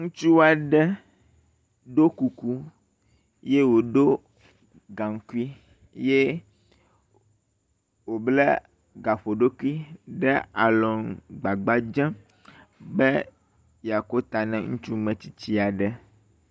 Ŋutsu aɖe ɖo kuku ye wòɖo gaŋkui ye wòbla gaƒoɖokui le gbagba dzem be yeako ta ne ŋutsu metsitsi aɖe.